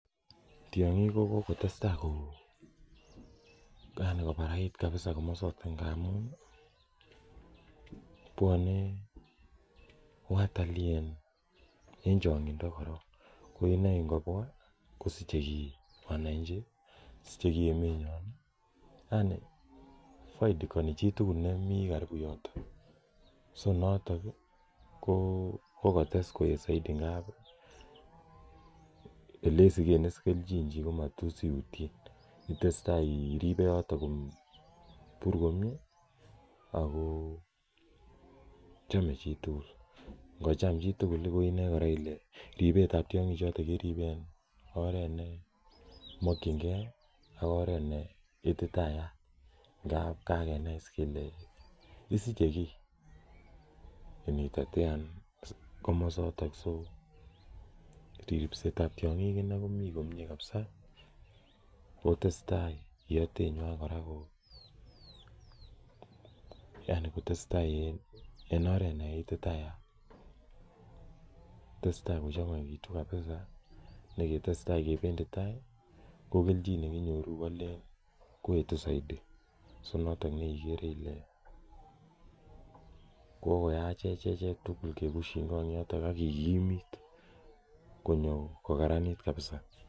Tiong'ik ko kokotestai yani kobarai kabza komosoto ng'amun ii bwone watalii en chong'indo koron, koinei ingobwa kosiche gii wananchi, siche gii emenyon ii, foidikoni chitugul nemi garibu yoton, so noton ii ko kokotes koet soidi ng'ab elesigen keljin chii komaroisi iutyen, itesetai iripe yoto komyee, kobur komyee ako chome chitugul, ngocham chitugul ko inoe kora kole ribet ab tiong'ichoto keribe en oret nemonkyingen ak oret neititayat ngab kakenai kele isiche gii initetean komosotok, so ribset ab tiong'ik inei komin komyee kabzaa kotesetai iotenywan kora, yani kotesetai en oretneititayat, kotesetai kochangaigitu kabza ne ketesetai kebendi tai ii ko keljin nekinyoru koetu soidi so noton neikere ile kogoyachech echek tugul kegusying'ong yoton ak kigimit konyo kogaranit kabza.